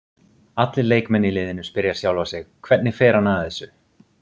Allir leikmenn í liðinu spyrja sjálfa sig Hvernig fer hann að þessu?